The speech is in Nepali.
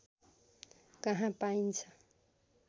कहाँ पाइन्छ